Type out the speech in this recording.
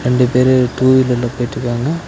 ரெண்டு பேரு டூ வீலர்ல போயிட்ருக்காங்க.